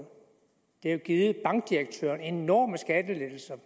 det har jo givet bankdirektørerne enorme skattelettelser